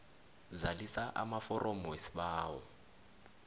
zalisa amaforomo wesibawo